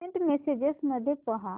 Saint messages मध्ये पहा